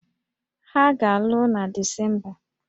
Ha ga-alụ na Disemba